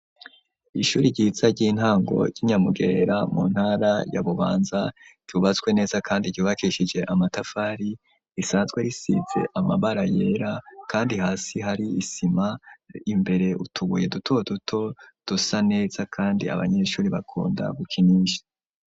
Ishuri ryiza ry'intango y'i Nyamugerera mu ntara ya Bubanza rubatswe neza kandi ryubakishije amatafari, risanzwe risize amabara yera kandi hasi hari isima imbere utubuye duto duto dusa neza kandi abanyeshuri bakunda gukinisha.